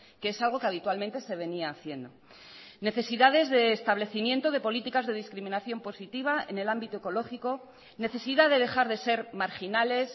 que es algo que habitualmente se venía haciendo necesidades de establecimiento de políticas de discriminación positiva en el ámbito ecológico necesidad de dejar de ser marginales